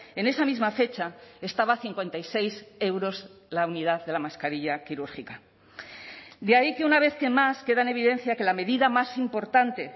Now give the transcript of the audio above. en esa misma fecha estaba a cincuenta y seis euros la unidad de la mascarilla quirúrgica de ahí que una vez que más queda en evidencia que la medida más importante